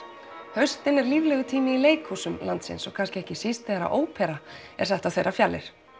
haustið er líflegur tími í leikhúsum landsins og kannski ekki síst þegar óperan er sett á þeirra fjalir